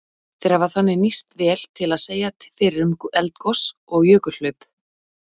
Þeir hafa þannig nýst vel til að segja fyrir um eldgos og jökulhlaup.